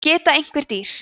geta einhver dýr